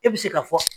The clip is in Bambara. E bɛ se ka fɔ